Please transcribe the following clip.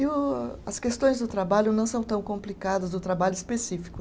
E o, as questões do trabalho não são tão complicadas do trabalho específico.